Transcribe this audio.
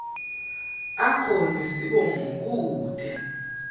akho nesibongo kute